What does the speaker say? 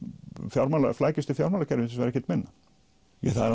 flækjustig fjármálakerfisins var ekkert minna það er